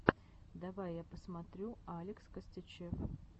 давай я посмотрю алекс костячев